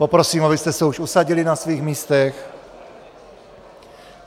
Poprosím, abyste se už usadili na svých místech.